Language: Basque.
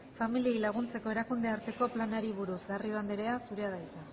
familiei laguntzeko erakundearteko planari buruz garrido anderea zurea da hitza